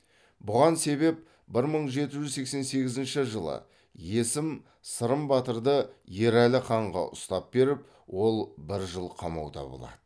бұған себеп бір мың жеті жүз сексен сегізінші жылы есім сырым батырды ерәлі ханға ұстап беріп ол бір жыл қамауда болады